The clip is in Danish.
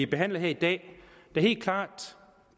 behandler her i dag der helt klart